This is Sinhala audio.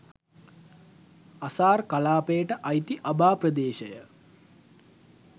අසාර් කළාපයට අයිති අබා ප්‍රදේශය